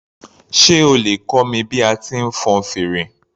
Sé o lè kọ́ mi bí a ti ń fọn fèrè